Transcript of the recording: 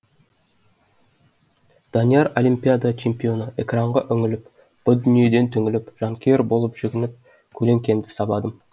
данияр олимпиада чемпионы экранға үңіліп бұ дүниеден түңіліп жанкүйер боп жүгініп көлеңкемді сабадым